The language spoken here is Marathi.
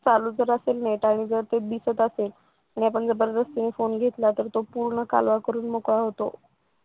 चालू वगैरे चालू असेल ना data वगैरे दिसत असे आणि आपण जबरदस्तीने फोन घेतला तर तर तो पूर्ण कालवा करून मोकळा होतो.